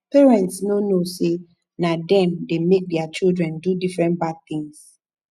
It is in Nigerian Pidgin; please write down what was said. parents no know say na dem dey make their children do different bad things